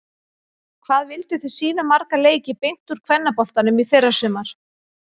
Hvað vilduð þið sýna marga leiki beint úr kvennaboltanum í fyrrasumar?